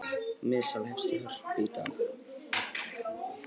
Miðasala hefst í Hörpu í dag